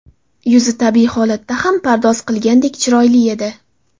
Yuzi tabiiy holatda ham pardoz qilganday chiroyli edi.